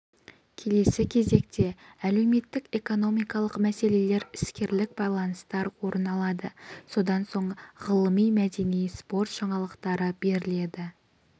келесі кезекте әлеуметтік экономикалық мәселелер іскерлік байланыстар орын алады содан соң ғылыми мәдени спорт жаңалықтары беріледі